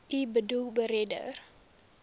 u boedel beredder